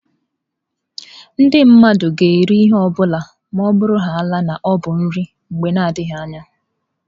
Ndị mmadụ ga-eri ihe ọ bụla ma ọ bụrụhaala na ọ bụ nri mgbe na adịghị anya.